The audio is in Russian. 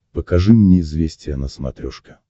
покажи мне известия на смотрешке